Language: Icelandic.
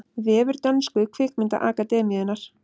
Vefur dönsku kvikmyndaakademíunnar